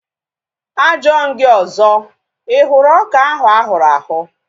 A jụọ m gị ọzọ, ị hụrụ ọka ahu ahụrụ ahụ̀?